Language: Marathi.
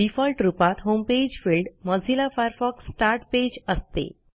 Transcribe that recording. डिफॉल्ट रुपात homepage field Mozilla Firefox start page असते